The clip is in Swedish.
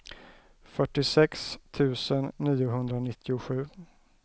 fyrtiosex tusen niohundranittiosju